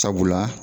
Sabula